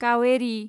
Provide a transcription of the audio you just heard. Kaveri